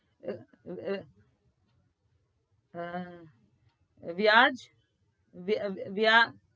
વ્યાજ વ્યા